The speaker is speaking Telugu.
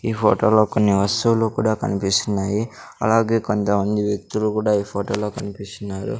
ఈ ఫొటో లో కొన్ని వస్తువులు కూడా కన్పిస్తున్నాయి అలాగే కొంతమంది వ్యక్తులు కూడా ఈ ఫొటో లో కన్పిస్తున్నారు .